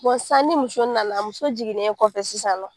sisan ni muso nana muso jiginnen kɔfɛ sisannɔ.